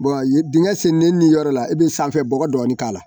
dingɛ senni ni yɔrɔ la i be sanfɛ bɔgɔ dɔɔnin k'a la